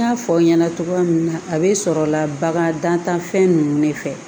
N y'a fɔ aw ɲɛna cogoya min na a bɛ sɔrɔ la bagan dantanfɛn ninnu de fɛ